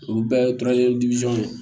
Olu bɛɛ ye